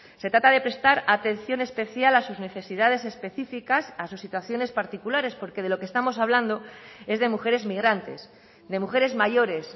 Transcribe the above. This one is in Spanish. se trata de prestar atención especial a sus necesidades específicas a sus situaciones particulares porque de lo que estamos hablando es de mujeres migrantes de mujeres mayores